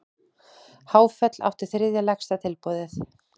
Háfell átti þriðja lægsta tilboðið